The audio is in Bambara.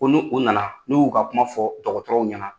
Ko n'u u nana, n'u y'u ka kuma fɔ dɔgɔtɔrɔw ɲɛna